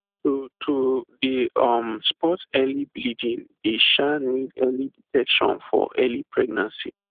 to to dey um spot any bleeding dey um need early detection for early pregnancy